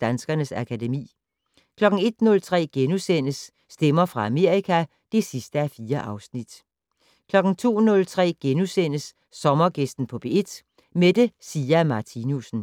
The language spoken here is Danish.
Danskernes akademi * 01:03: Stemmer fra Amerika (4:4)* 02:03: Sommergæsten på P1: Mette Sia Martinussen *